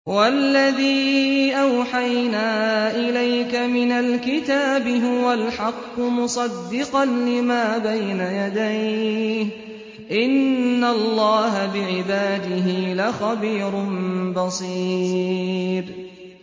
وَالَّذِي أَوْحَيْنَا إِلَيْكَ مِنَ الْكِتَابِ هُوَ الْحَقُّ مُصَدِّقًا لِّمَا بَيْنَ يَدَيْهِ ۗ إِنَّ اللَّهَ بِعِبَادِهِ لَخَبِيرٌ بَصِيرٌ